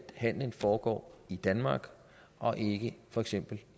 handelen foregår i danmark og ikke i for eksempel